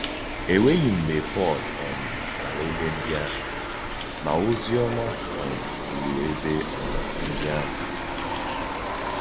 E nwè̀ghị mgbe Pọ́l um gàrà ébé ndí àhụ̀, ma òzì òma um rùrù ébé um ndí àhụ̀.